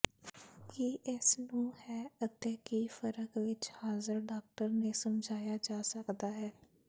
ਕੀ ਇਸ ਨੂੰ ਹੈ ਅਤੇ ਕੀ ਫਰਕ ਵਿਚ ਹਾਜ਼ਰ ਡਾਕਟਰ ਨੇ ਸਮਝਾਇਆ ਜਾ ਸਕਦਾ ਹੈ